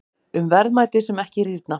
Um verðmæti sem ekki rýrna.